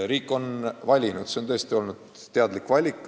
Riik on valinud, see on tõesti olnud teadlik valik.